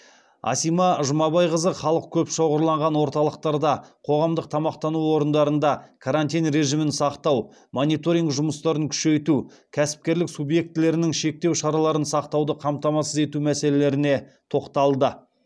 асима жұмабайқызы халық көп шоғырланған орталықтарда қоғамдық тамақтану орындарында карантин режимін сақтау мониторинг жұмыстарын күшейту кәсіпкерлік субъектілерінің шектеу шараларын сақтауды қамтамасыз ету мәселелеріне тоқталды